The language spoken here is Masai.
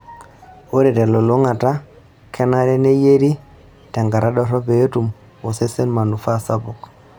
Ore telulung'ata, kenare neyieri tenkata dorrop pee etum osesen manufaa sapuk.